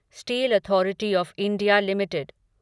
steel authority of India limited